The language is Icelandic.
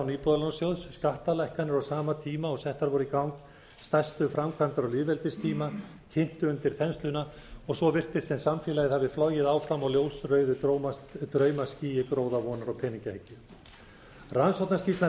íbúðalánasjóðs skattalækkanir á sama tíma og settar voru í gang stærstu framkvæmdir á lýðveldistíma kyntu undir þensluna og svo virtist sem samfélagið hafi flogið áfram á ljósrauðu draumaskýi gróðavonar og peningahyggju rannsóknarskýrslan